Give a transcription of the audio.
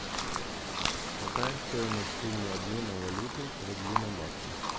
какая стоимость суммы обмена валюты рубли на баксы